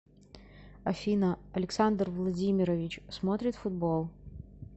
афина александр владимирович смотрит футбол